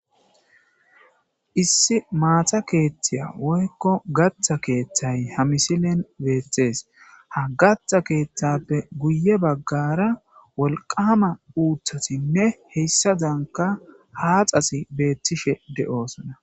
issi maata keeththaya woykko gatha keeththay ha misilen betees ha gatha keeththappe guye baggara wolqama uuthotinne heyssadanka haxazi beettishe de'oosona